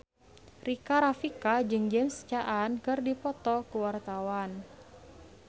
Rika Rafika jeung James Caan keur dipoto ku wartawan